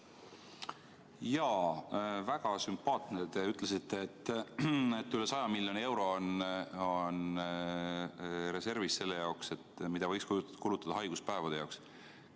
Jaa, väga sümpaatne, kui te ütlesite, et reservis on üle 100 miljoni euro, mida võiks kulutada haiguspäevade jaoks.